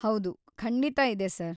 ಹೌದು, ಖಂಡಿತಾ ಇದೆ ಸರ್.